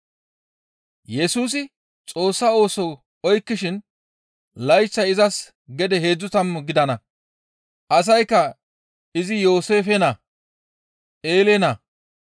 Yesusi Xoossa ooso oykkishin izas layththay gede heedzdzu tammu gidana. Asaykka izi Yooseefe naa, Eele naa,